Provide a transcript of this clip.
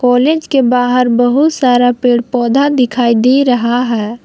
College के बाहर बहुत सारा पेड़ पौधा दिखाई दे रहा है।